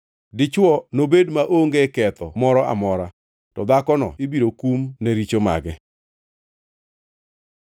Dichwo nobed maonge ketho moro amora, to dhakono ibiro kum ne richo mage.’ ”